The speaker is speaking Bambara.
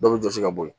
Dɔ bɛ jɔsi ka bɔ yen